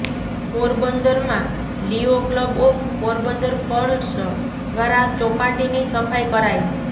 પોરબંદર માં Leo club of Porbandar pearls દ્વારા ચોપાટી ની સફાઈ કરાઈ